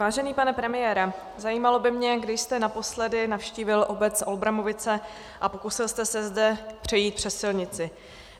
Vážený pane premiére, zajímalo by mě, kdy jste naposledy navštívil obec Olbramovice a pokusil jste se zde přejít přes silnici.